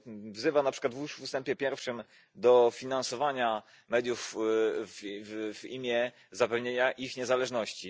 Wzywa na przykład w ustępie pierwszym do finansowania mediów w imię zapewnienia ich niezależności.